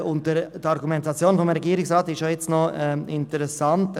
Die Argumentation des Regierungsrats ist ebenfalls interessant.